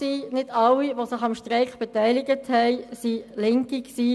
Nicht alle, die sich am Streik beteiligt hatten, waren Linke.